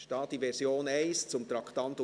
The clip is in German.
Es ist die Version 1 zum Traktandum 67.